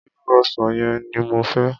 Irú ọsàn yẹn ni mo fẹ́.